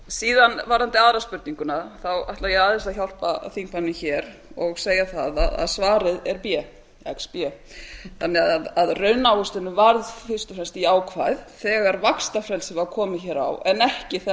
síðan varðandi tvö spurninguna ætla ég aðeins að hjálpa þingmanninum hér og segja það að svarið er b xb þannig að raunávöxtunin varð fyrst og fremst jákvæð þegar vaxtafrelsi var komið hér á en ekki þegar